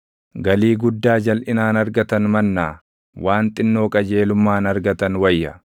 Galii guddaa jalʼinaan argatan mannaa waan xinnoo qajeelummaan argatan wayya.